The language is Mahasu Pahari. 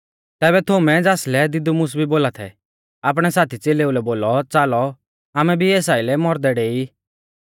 तैबै थोमै ज़ासलै दिदुमुस भी बोला थै आपणै साथी च़ेलेउलै बोलौ च़ालौ आमै भी एस आइलै मौरदै डेई